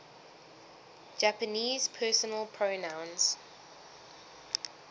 japanese personal pronouns